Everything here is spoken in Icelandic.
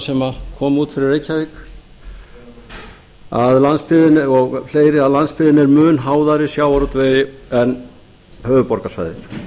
sem koma út fyrir reykjavík og fleiri að landsbyggðin er mun háðari sjávarútvegi en höfuðborgarsvæðið